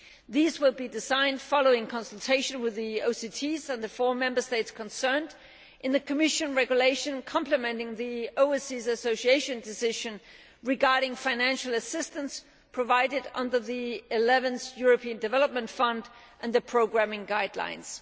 These will be designed following consultation with the OCTs and the four Member States concerned, in the Commission regulation complementing the Overseas Association Decision regarding financial assistance provided under the 11th European Development Fund and the programming guidelines.